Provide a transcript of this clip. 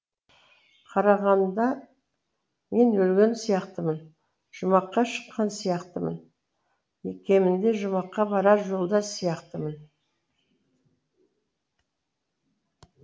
қарағанда мен өлген сияқтымын жұмаққа шыққан сияқтымын кемінде жұмаққа барар жолда сияқтымын